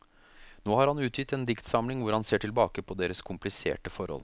Nå har han utgitt en diktsamling hvor han ser tilbake på deres kompliserte forhold.